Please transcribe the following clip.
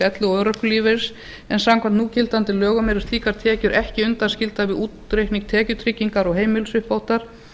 elli og örorkulífeyris en samkvæmt núgildandi lögum eru slíkar tekjur ekki undanskildar við útreikning tekjutryggingar og heimilisuppbótar